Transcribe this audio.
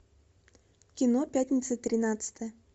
кино пятница тринадцатое